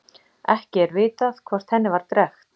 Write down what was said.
Ekki er vitað hvort henni var drekkt.